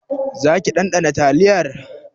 Zaki ɗanɗana taliyar?